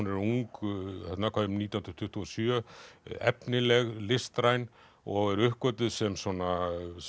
er ung þarna um nítján hundruð tuttugu og sjö efnileg listræn og er uppgötvuð sem svona